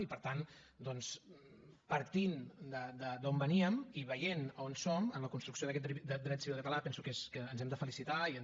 i per tant doncs partint d’on veníem i veient on som en la construcció d’aquet dret civil català penso que ens hem de felicitar i és